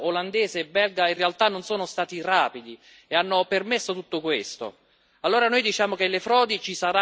Come mai i sistemi di allerta rapido olandese e belga in realtà non sono stati rapidi e hanno permesso tutto questo?